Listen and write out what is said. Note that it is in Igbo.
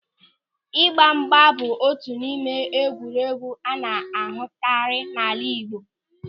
Ịgbamgba bụ otu n'ime egwuregwu a na-ahụtakarị n'ala Igbo.